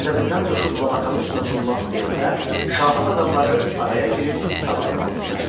Qəzəbindən coşub Labakanın üstünə cummaq istəyəndə, şahın adamları araya girib qabağını aldılar.